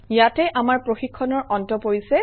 ইয়াতে আমাৰ প্ৰশিক্ষণৰ অন্ত পৰিছে